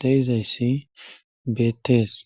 de7izayssi beettes.